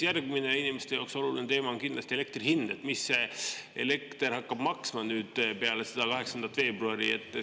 Järgmine inimeste jaoks oluline teema on kindlasti elektri hind, et mis see elekter hakkab maksma nüüd peale 8. veebruari.